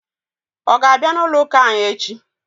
Ọ ga-abịa n'ụlọụ́kà anyị echi?